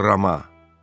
“Kolrama!”